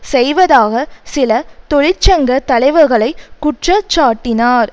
செய்வதாக சில தொழிற்சங்க தலைவர்களை குற்றச்சாட்டினார்